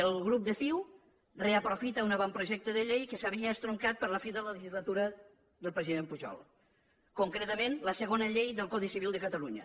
el grup de ciu reaprofita un avantprojecte de llei que s’havia estroncat per la fi de la legislatura del president pujol concretament la segona llei del codi civil de catalunya